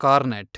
cornet